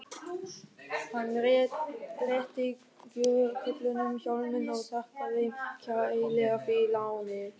Hann réttir gröfukörlunum hjálminn og þakkar þeim kærlega fyrir lánið.